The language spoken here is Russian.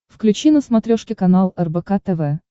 включи на смотрешке канал рбк тв